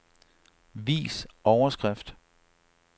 Vis overskrift.